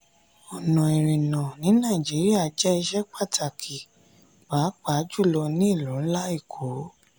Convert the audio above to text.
ọ̀nà ìrìnnà ní nàìjíríà jẹ́ iṣẹ́ pàtàkì pàápàá jùlọ ní ìlú ńlá èkó.